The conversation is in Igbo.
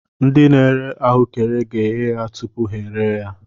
Ndị n'ere ahuekere ga eghe ya tụpụ ha eree ya.